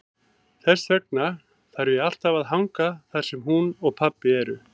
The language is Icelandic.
Þess vegna þarf ég alltaf að hanga þar sem hún og pabbi eru.